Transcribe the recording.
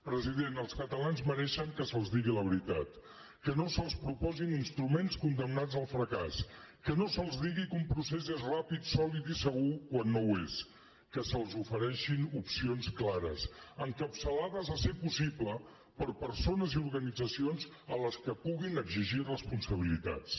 president els catalans mereixen que se’ls digui la veritat que no se’ls proposin instruments condemnats al fracàs que no se’ls digui que un procés és ràpid sòlid i segur quan no ho és que se’ls ofereixin opcions clares encapçalades si és possible per persones i organitzacions a qui puguin exigir responsabilitats